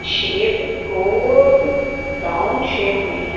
Shape गोल round shape में है।